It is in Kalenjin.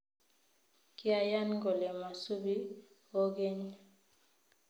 Kyayan kole masubi kogeny